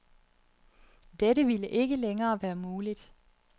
Dette vil ikke længere være muligt.